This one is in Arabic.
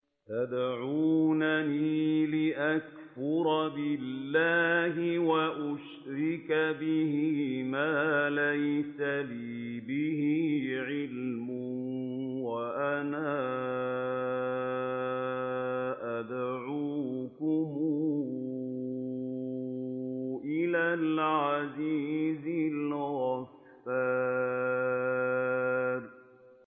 تَدْعُونَنِي لِأَكْفُرَ بِاللَّهِ وَأُشْرِكَ بِهِ مَا لَيْسَ لِي بِهِ عِلْمٌ وَأَنَا أَدْعُوكُمْ إِلَى الْعَزِيزِ الْغَفَّارِ